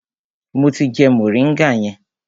Mo ti jẹ moringa yẹn.